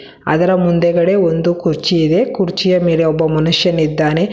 ಅದರ ಮುಂದೆಗಡೆ ಒಂದು ಕುರ್ಚಿ ಇದೆ ಕುರ್ಚಿಯ ಮೇಲೆ ಒಬ್ಬ ಮನುಷ್ಯನಿದ್ದಾನೆ.